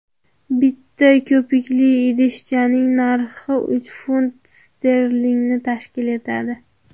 Bitta ko‘pikli idishchaning narxi uch funt sterlingni tashkil etadi.